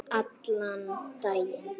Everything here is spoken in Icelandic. Allan daginn.